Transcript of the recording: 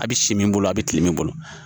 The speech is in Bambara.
A bɛ si min bolo a bɛ kile min bolo